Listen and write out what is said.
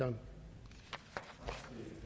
med